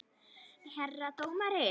Herra dómari!